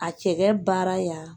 A cɛkɛ baara ya